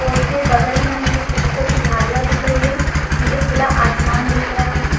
पोल के बगल में मुझे छोटी छोटी झाडिया दिख रही है मुझे खुला आसमान दिख रहा है --